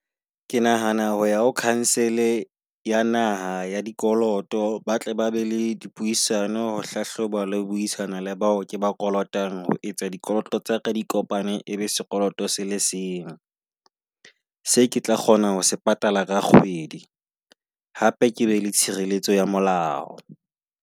Ke nahana ho ya ho council-e ya naha ya dikoloto. Ba tle ba be le dipuisano ho hlahloba la buisana le bao ke ba kolotang. Ho etsa dikoloto tsa ka di kopane e be sekoloto se le seng. Se ke tla kgona ho se patala ka kgwedi, hape ke be le tshireletso ya molao.